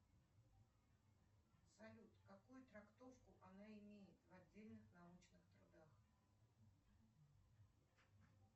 салют какую трактовку она имеет в отдельных научных трудах